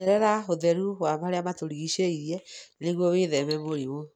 Menyerere ũtheru wa marĩa maturigicĩirie nĩguo wĩtheme mĩrimũ.